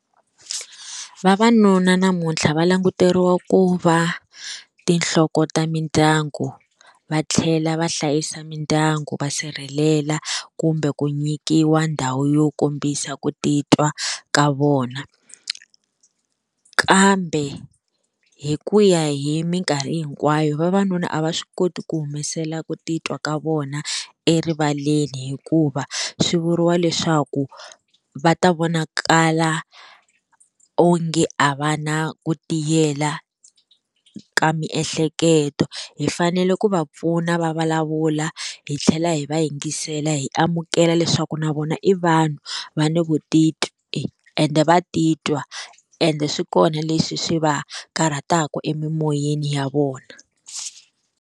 Vavanuna namuntlha va languteriwa ku va tinhloko ta mindyangu va tlhela va hlayisa mindyangu va sirhelela kumbe ku nyikiwa ndhawu yo kombisa ku titwa ka vona kambe hi ku ya hi minkarhi hinkwayo vavanuna a va swi koti ku humesela ku titwa ka vona erivaleni hikuva swi vuriwa leswaku va ta vonakala onge a va na ku tiyela ka miehleketo hi fanele ku va pfuna va vulavula hi tlhela hi va yingisela hi amukela leswaku na vona i vanhu va ni vutitwi ende va titwa ende swi kona leswi swi va karhataka emimoyeni ya vona.